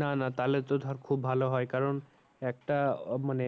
না না তাহলে তো ধর খুব ভালো হয় কারণ একটা আহ মানে